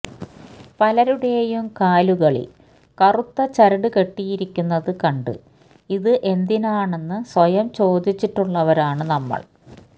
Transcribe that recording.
പലരുടെയും കാലുകളില് കറുത്ത ചരട് കെട്ടിയിരിക്കുന്നത് കണ്ട് ഇത് എന്തിനാണെന്ന് സ്വയം ചോദിച്ചിട്ടുള്ളവരാണ് നമ്മള്